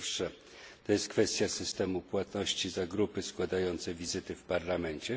Pierwsze to jest kwestia systemu płatności za grupy składające wizyty w Parlamencie.